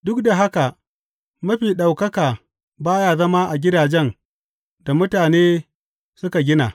Duk da haka, Mafi Ɗaukaka ba ya zama a gidajen da mutane suka gina.